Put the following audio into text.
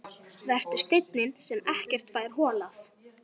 Vertu steinninn sem ekkert fær holað.